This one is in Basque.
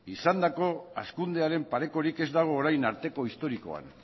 izandako hazkundearen parekorik ez dago orain arteko historikoan